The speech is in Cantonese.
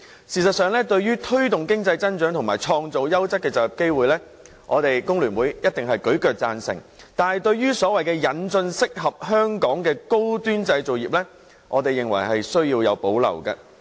事實上，對於推動經濟增長和創造優質就業機會，香港工會聯合會定必大力贊成，但對所謂引進適合香港的高端製造業這一點，我們則有所保留。